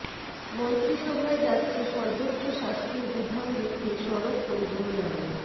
মন্ত্রিসভায় যাচ্ছে সর্বোচ্চ শাস্তির বিধান রেখে সড়ক পরিবহন আইন